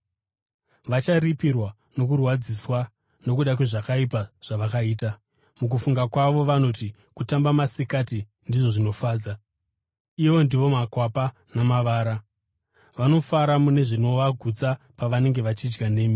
Vacharipirwa nokurwadziswa nokuda kwezvakaipa zvavakaita. Mukufunga kwavo vanoti kutamba masikati ndizvo zvinofadza. Ivo ndivo makwapa namavara, vanofara mune zvinovagutsa pavanenge vachidya nemi.